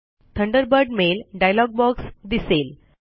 Thunderbird mail dialog box दिसेल